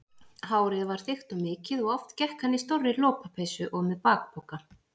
Hárið var þykkt og mikið og oft gekk hann í stórri lopapeysu og með bakpoka.